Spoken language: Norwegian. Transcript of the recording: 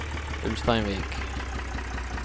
Ulsteinvik